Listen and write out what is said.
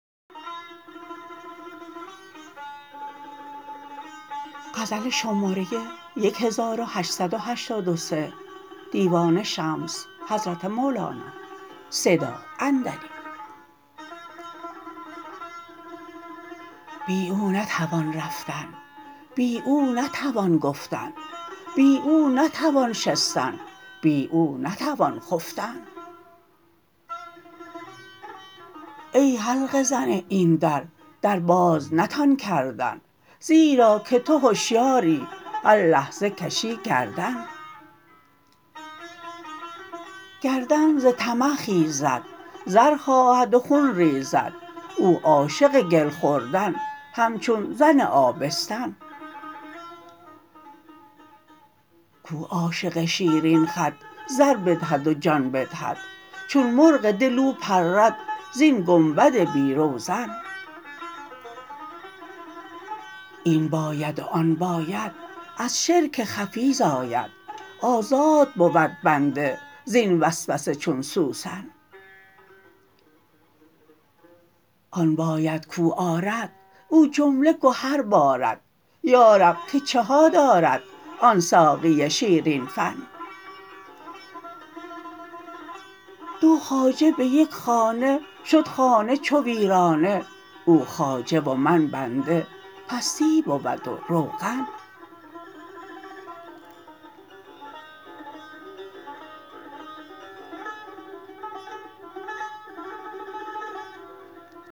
بی او نتوان رفتن بی او نتوان گفتن بی او نتوان شستن بی او نتوان خفتن ای حلقه زن این در در باز نتان کردن زیرا که تو هشیاری هر لحظه کشی گردن گردن ز طمع خیزد زر خواهد و خون ریزد او عاشق گل خوردن همچون زن آبستن کو عاشق شیرین خد زر بدهد و جان بدهد چون مرغ دل او پرد زین گنبد بی روزن این باید و آن باید از شرک خفی زاید آزاد بود بنده زین وسوسه چون سوسن آن باید کو آرد او جمله گهر بارد یا رب که چه ها دارد آن ساقی شیرین فن دو خواجه به یک خانه شد خانه چو ویرانه او خواجه و من بنده پستی بود و روغن